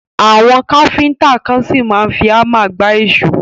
Àwọn Káfíntà kan ṣì máa ń fi hámà gba èṣó.